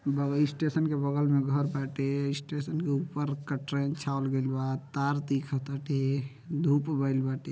Bug station के बगल में घर बाटे। स्टेशन के ऊपर का कटरैन छावल गइल बा तार दिखताटे धूप भइले बाटे।